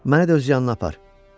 məni də öz yanına apar.